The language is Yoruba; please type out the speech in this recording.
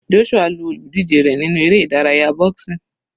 Joshua lu olùdíje rẹ̀ nínú eré ìdárayá boxing.